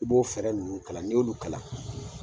I b'o fɛɛrɛ ninnu kalan, ni'olu kalan